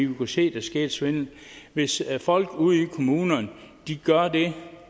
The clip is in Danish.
vi kunne se der skete svindel hvis folk ude i kommunerne gør det